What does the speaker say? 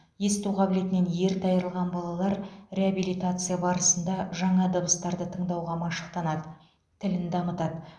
есту қабілетінен ерте айырылған балалар реабилитация барысында жаңа дыбыстарды тыңдауға машықтанады тілін дамытады